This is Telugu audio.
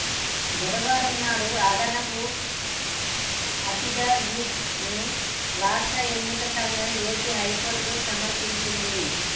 బుధవారం నాడు అదనపు అఫిడవిట్ ను రాష్ట్ర ఎన్నికల సంఘం ఏపీ హైకోర్టుకు సమర్పించింది